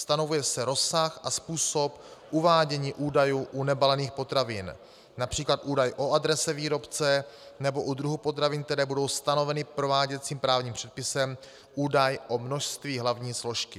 Stanovuje se rozsah a způsob uvádění údajů u nebalených potravin, například údaj o adrese výrobce nebo u druhu potravin, které budou stanoveny prováděcím právním předpisem, údaj o množství hlavní složky.